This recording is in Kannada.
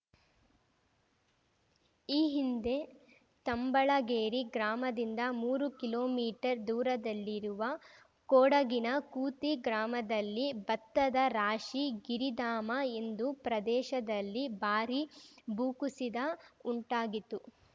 ಈ ಹಿಂದೆ ತಂಬಳಗೇರಿ ಗ್ರಾಮದಿಂದ ಮೂರು ಕಿಲೋಮೀಟರ್ ದೂರದಲ್ಲಿರುವ ಕೊಡಗಿನ ಕೂತಿ ಗ್ರಾಮದಲ್ಲಿ ಭತ್ತದ ರಾಶಿ ಗಿರಿಧಾಮ ಎಂದು ಪ್ರದೇಶದಲ್ಲಿ ಭಾರಿ ಭೂಕುಸಿದ ಉಂಟಾಗಿತು